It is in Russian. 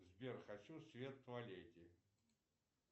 сбер хочу свет в туалете